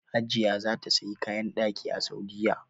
Hajiya za ta saya kayan ɗaki a Saudiya